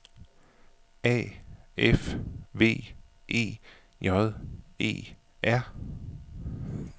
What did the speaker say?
A F V E J E R